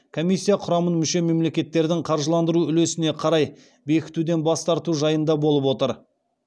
комиссия құрамын мүше мемлекеттердің қаржыландыру үлесіне қарай бекітуден бас тарту жайында болып отыр